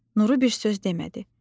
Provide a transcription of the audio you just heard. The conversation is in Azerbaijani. Nuru bir söz demədi.